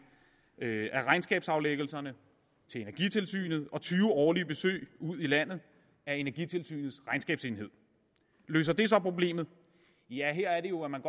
af regnskabsaflæggelserne til energitilsynet og tyve årlige besøg ud i landet af energitilsynets regnskabsenhed løser det så problemet ja her er det jo at man